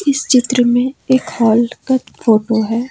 इस चित्र में एक हॉल का फोटो है।